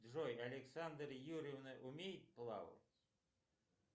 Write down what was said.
джой александра юрьевна умеет плавать